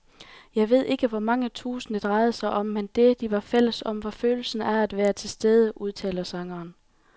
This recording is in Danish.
Jeg ved ikke hvor mange tusind, det drejede sig om, men det, de var fælles om, var følelsen af at være tilstede, udtaler sangeren.